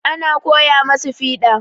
Ana koya masu fiɗa.